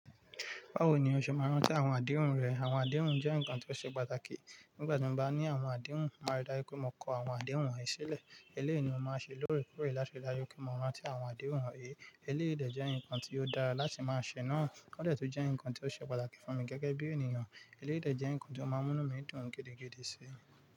Báwo ni o ṣe máa ń rántí àwọn àdéhùn rẹ? Àwọn àdéhùn jẹ́ nǹkan tó ṣe pàtàkì. Nígbà tí mo bá ní àwọn àdéhùn, mo màá n ri dájú wipé mo kọ àwọn àdéhùn yen sílẹ̀. Eléyìí ni mo máa ṣe lóòrèkóòrè láti rí dájú pé mo rántí àwọn àdéhùn wonyìí. Eléyìí de jẹ́ nǹkan tí ó dára láti máa ṣe náà, ó dẹ̀ tun jẹ́ nǹkan tí ó ṣe pàtàkì fún mi gẹ́gẹ́ bí ènìyàn. Eléyií de jẹ́ nǹkan tí ó máa ń múnu mi dùn gidigidi sí.